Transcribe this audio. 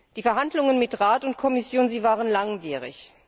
Die Verhandlungen mit Rat und Kommission waren langwierig.